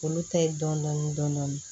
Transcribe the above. Olu ta ye dɔndɔni dɔni